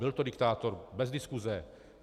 Byl to diktátor, bez diskuse.